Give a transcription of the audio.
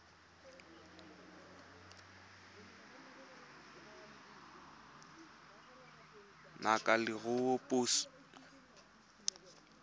ngaka ya leruo ya puso